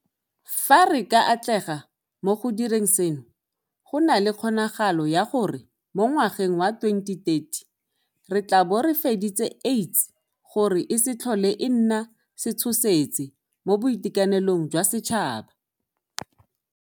Fa re ka atlega mo go direng seno, go na le kgonagalo ya gore mo ngwageng wa 2030 re tla bo re fedisitse AIDS gore e se tlhole e nna setshosetsi mo boitekanelong jwa setšhaba.